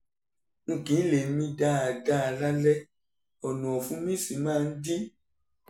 n kì í lè mí dáadáa lálẹ́ ọ̀nà ọ̀fun mí sì máa ń dí